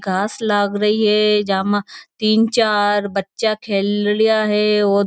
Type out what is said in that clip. घास लागरी है जामा तीन चार बच्चा खेल रिया है और --